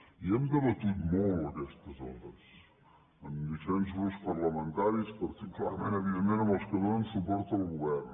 i hem debatut molt aquestes hores amb diferents grups parlamentaris particularment evidentment amb els que donen suport al govern